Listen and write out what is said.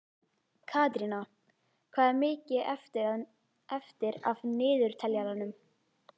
Katrína, hvað er mikið eftir af niðurteljaranum?